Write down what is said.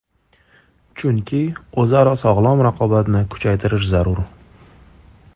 Chunki o‘zaro sog‘lom raqobatni kuchaytirish zarur.